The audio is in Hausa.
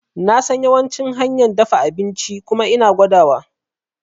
Nasan yawancin hanyan dafa abinci kuma ina gwada wa